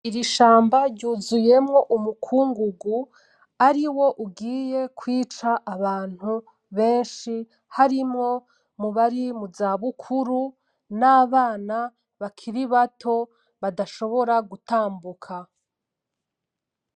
Ishamba ryuzuyemwo umukungugu ariwo ugiye kwica abantu benshi harimwo abari muza bukuru, nabana bakiri bato badashobora gutambuka.